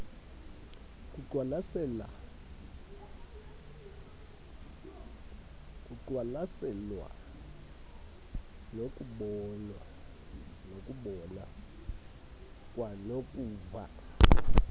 kukwaqwalaselwa nokubona kwanokuva